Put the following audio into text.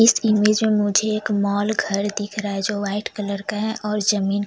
इस इमेज में मुझे एक मॉल घर दिख रहा है जो वाइट कलर का है और जो जमींन--